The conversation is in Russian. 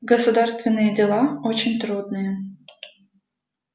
государственные дела очень трудные